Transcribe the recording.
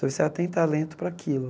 Então você já tem talento para aquilo.